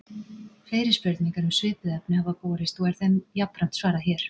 Fleiri spurningar um svipuð efni hafa borist og er þeim jafnframt svarað hér.